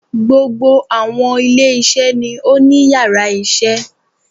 Gbogbo àwọn ilé iṣẹ́ ni ó ní yàrá isé